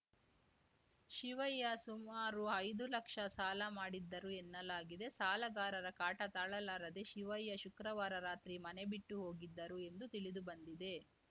ಶಿವಯ್ಯ ಸುಮಾರು ಐದು ಲಕ್ಷ ಸಾಲ ಮಾಡಿದ್ದರು ಎನ್ನಲಾಗಿದೆ ಸಾಲಗಾರರ ಕಾಟ ತಾಳಲಾರದೆ ಶಿವಯ್ಯ ಶುಕ್ರವಾರ ರಾತ್ರಿ ಮನೆಬಿಟ್ಟು ಹೋಗಿದ್ದರು ಎಂದು ತಿಳಿದುಬಂದಿದೆ